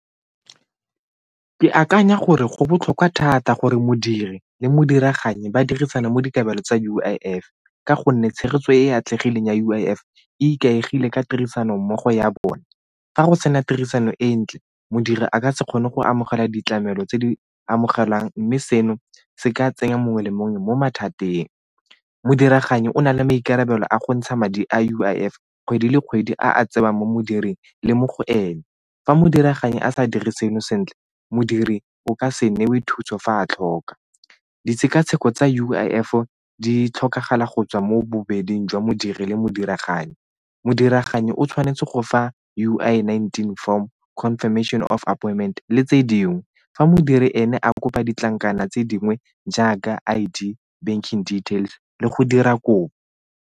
Ke akanya gore go botlhokwa thata gore modiri le modiraganye ba dirisana mo dikabelo tsa U_I_F ka gonne tshegetso e e atlegileng ya U_I_F e ikaegile ka tirisano mmogo ya bone, fa go sena tirisano e ntle modiri a ka se kgone go amogela ditlamelo tse di amogelang mme seno se ka tsenya mongwe le mongwe mo mathateng. Modiraganyi o na le maikarabelo a go ntsha madi a U_I_F kgwedi le kgwedi a a tsewang mo modiring le mo go ene fa mo diragalang a sa dirisana sentle modiri o ka se newe thuso fa a tlhoka. Ditshekatsheko tsa U_I_F-o di tlhokagala go tswa mo bobeding jwa modiri le modiraganyi. Modiraganyi o tshwanetse go fa U_I nineteen form confirmation of appointment le tse dingwe, fa modiri ene a kopa ditlankana tse dingwe jaaka I_D, banking details le go dira kopo.